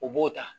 U b'o ta